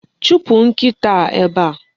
Chụpụ nkịta a ebe a!